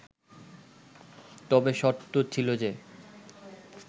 তবে শর্ত ছিল যে